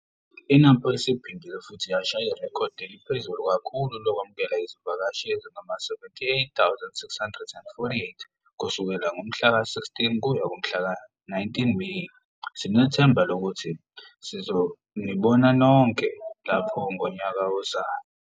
I-NAMPO iphindile futhi yashaya irekhodi eliphezulu kakhulu lokwamukela izivakashi ezingama-78 648 kusukela ngomhlaka-16 -19 Meyi! Sinethemba lokuthi sizonibona nonke lapho ngonyaka ozayo.